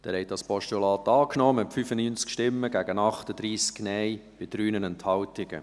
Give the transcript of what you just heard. Sie haben dieses Postulat angenommen, mit 95 Ja- gegen 38 Nein-Stimmen bei 3 Enthaltungen.